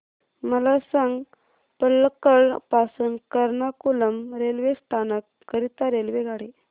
मला सांग पलक्कड पासून एर्नाकुलम रेल्वे स्थानक करीता रेल्वेगाडी